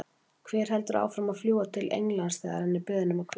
Hver heldur áfram að fljúga til Englands þegar hann er beðinn um að hvíla sig?